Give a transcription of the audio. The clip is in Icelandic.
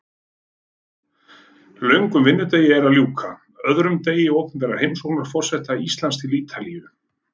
Löngum vinnudegi er að ljúka, öðrum degi opinberrar heimsóknar forseta Íslands til Ítalíu.